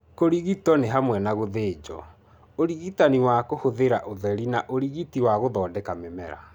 Kũrigito nĩ hamwe na gũthĩnjo, ũrigitani wa kũhũthĩra ũtheri na ũrigiti wa gũthondeka mĩmera.